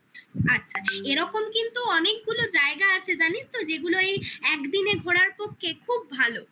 আচ্ছা এরকম কিন্তু অনেকগুলো জায়গা আছে জানিস তো যেগুলো এই একদিনে ঘোরার পক্ষে খুব ভালো